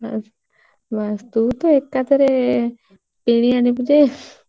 ବାସ ବାସ ତୁ ତ ଏକା ଥରେ କିଣି ଆଣିବୁ ଯେ।